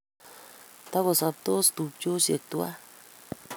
Toko sabtos tupchoshek tuwai